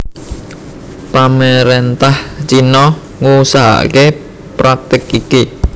Pamarentah Cina ngusahakake praktik iki